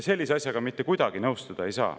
Sellise asjaga ei saa mitte kuidagi nõustuda.